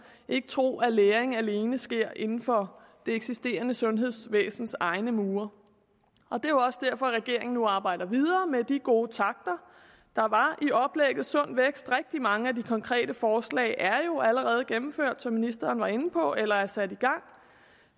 ikke tro at læring alene sker inden for det eksisterende sundhedsvæsens egne mure det er også derfor regeringen nu arbejder videre med de gode takter der var i oplægget sund vækst rigtig mange af de konkrete forslag er jo allerede gennemført som ministeren var inde på eller er sat i gang